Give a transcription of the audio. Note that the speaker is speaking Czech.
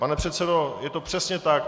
Pane předsedo, je to přesně tak.